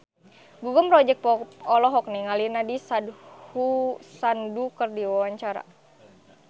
Gugum Project Pop olohok ningali Nandish Sandhu keur diwawancara